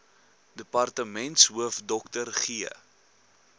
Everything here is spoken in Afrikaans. departementshoof dr g